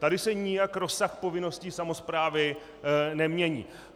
Tady se nijak rozsah povinností samosprávy nemění.